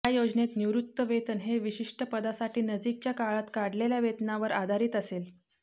या योजनेत निवृत्तीवेतन हे विशिष्ट पदासाठी नजीकच्या काळात काढलेल्या वेतनावर आधारित असेल